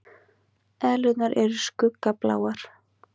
Eðlurnar eru skuggabláar.